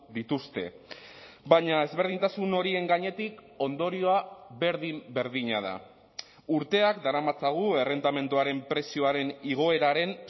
dituzte baina ezberdintasun horien gainetik ondorioa berdin berdina da urteak daramatzagu errentamenduaren prezioaren igoeraren